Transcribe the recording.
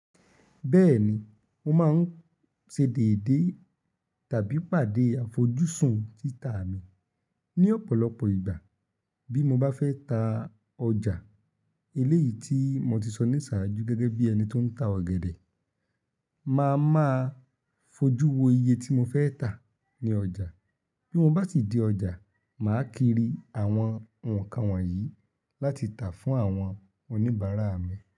Bẹ́ẹ̀ni, mo máa ń ṣe déédé tàbí pàdé àfojúsùn títa mi ní ọ̀pọ̀lọpọ̀ ìgbà bí mo bá fẹ́ ta ọjà eléyìí tí mo ti sọ ní ìsaju gẹ́gẹ́ bí ẹni tó ń ta ọ̀gẹ̀dẹ̀, màá máa fojú wo iye tí mo fẹ́ tà ní ọjà. Bí mo bá si dé ọjà, màá kiri àwọn nǹkan wọ̀nyí láti tà fún àwọn oníbàárà mi.